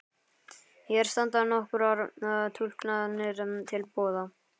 Hér standa nokkrar túlkanir til boða.